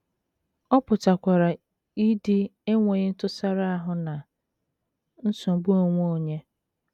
Ọ pụtakwara idi enweghị ntụsara ahụ na nsogbu onwe onye.